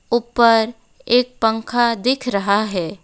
ऊपर एक पंखा दिख रहा है।